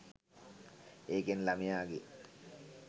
ඒකෙන් ළමයාගේ